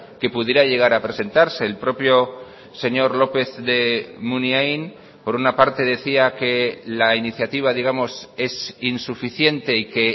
que pudiera llegar a presentarse el propio señor lópez de munain por una parte decía que la iniciativa digamos es insuficiente y que